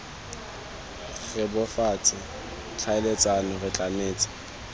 re bebofatse tlhaeletsano re tlametse